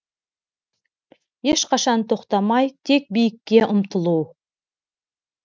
ешқашан тоқтамай тек биікке ұмтылу